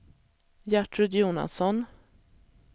Gertrud Jonasson